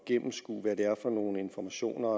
gennemskue hvad det er for nogle informationer